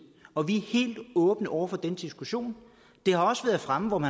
og vi er helt åbne over for den diskussion det har også været fremme om